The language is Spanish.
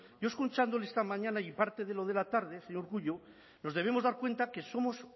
yo escuchándole esta mañana y parte de lo de la tarde señor urkullu nos debemos dar cuenta que somos